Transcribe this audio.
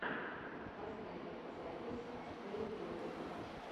поставь запись бэйбидас